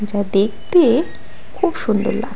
তা দেখতে খুব সুন্দর লাগ--